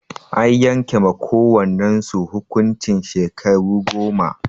An yanke ma kowannan su hukuncin shekaru goma.